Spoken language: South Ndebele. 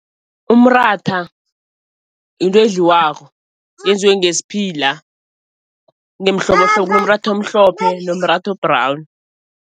Umratha into edliwako yenziwe ngesphila ngemihlobohlobo, kunomratha omhlophe kunomratha o-brown.